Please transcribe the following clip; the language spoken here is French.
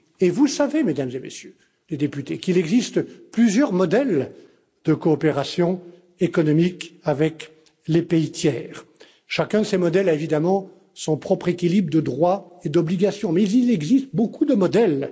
Vous savez, Mesdames et Messieurs les députés, qu'il existe plusieurs modèles de coopération économique avec les pays tiers. Chacun de ces modèles a évidemment son propre équilibre de droits et d'obligations mais il existe beaucoup de modèles.